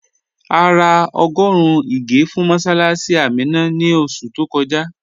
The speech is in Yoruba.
À rà ọ́gọ́run ìgè̩ fún mọ̀ssálássì Àmínà ní oṣù tó kọ́jà